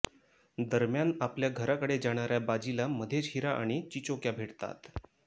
दरम्यान आपल्या घराकडे जाणाऱ्या बाजीला मध्येच हिरा आणि चिचोक्या भेटतात